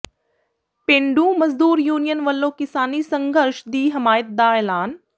ਪੇਂਡੂ ਮਜ਼ਦੂਰ ਯੂਨੀਅਨ ਵੱਲੋਂ ਕਿਸਾਨੀ ਸੰਘਰਸ਼ ਦੀ ਹਮਾਇਤ ਦਾ ਐਲਾਨ